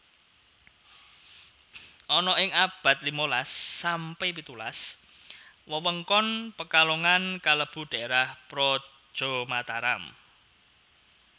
Ana ing abad limalas sampe pitulas wewengkon Pekalongan kalebu daerah praja Mataram